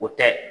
O tɛ